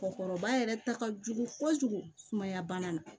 Mɔgɔkɔrɔba yɛrɛ ta ka jugu fo fojugu sumaya bana na